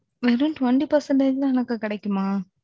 வெறும் twenty percentage தான் எனக்கு கிடைக்குமா?